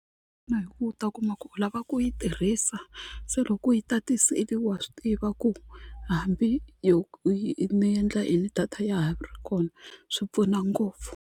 Na hi ku u ta kuma ku u lava ku yi tirhisa se loko u yi tatisile wa swi tiva ku hambi ni ni endla yini data ya ha ri kona swi pfuna ngopfu.